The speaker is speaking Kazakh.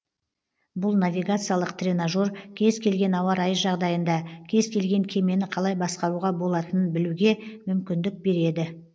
бұл навигациялық тренажер кез келген ауа райы жағдайында кез келген кемені қалай басқаруға болатынын білуге мүмкіндік береді